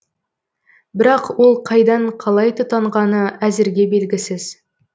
бірақ ол қайдан қалай тұтанғаны әзірге белгісіз